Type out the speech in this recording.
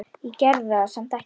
Ég gerði það samt ekki.